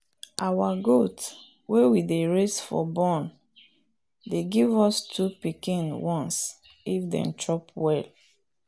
our goat wey we dey raise for born dey give us two pikin once if dem chop well.